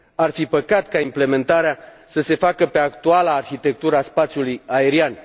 Ar fi păcat ca implementarea să se facă pe actuala arhitectură a spațiului aerian.